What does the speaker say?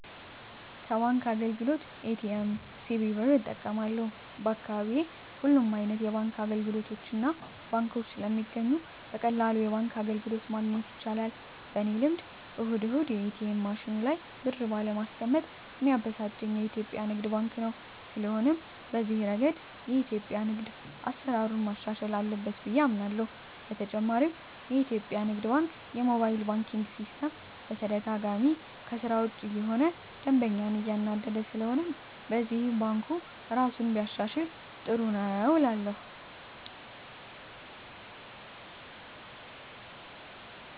ከባንክ አገልግሎት ኤ.ቲ.ኤም፣ ሲቪ ብር እጠቀማለሁ፣ በአካባቢየ ሁሉም አይነት የባንክ አገልግሎቶችና ባንኮች ስለሚገኙ በቀላሉ የባንክ አገልግሎት ማግኘት ይቻላል። በኔ ልምድ እሁድ እሁድ የኤትኤም ማሽኑ ላይ ብር ባለማስቀመጥ ሚያበሳጨኝ የኢትዮጲያ ንግድ ባንክ ነው። ስለሆነም በዚህ እረገድ የኢትዮጲያ ንግድ ባንክ አሰራሩን ማሻሻል አለበት ብየ አምናለሆ። በተጨማሪም የኢትዮጲያ ንግድ ባንክ የሞባይል ባንኪን ሲስተም በተደጋጋሚ ከስራ ውጭ እየሆነ ደንበኛን እያናደደ ስለሆነም በዚህም ባንኩ እራሱን ቢያሻሽል ጥሩ ነው እላለሁ።